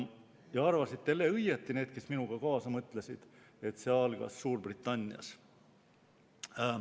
Ja arvasid jälle õigesti need, kes minuga kaasa mõtlesid – see algas Suurbritannias.